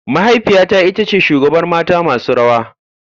Mahaifiyata ita ce shugabar mata masu rawa.